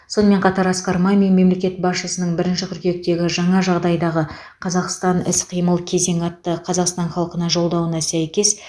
сонымен қатар асқар мамин мемлекет басшысының бірінші қыркүйектегі жаңа жағдайдағы қазақстан іс қимыл кезеңі атты қазақстан халқына жолдауына сәйкес